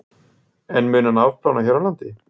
En mun hann afplána hér á landi?